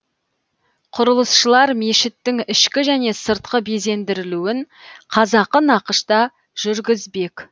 құрылысшылар мешіттің ішкі және сыртқы безендірілуін қазақы нақышта жүргізбек